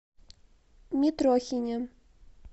митрохине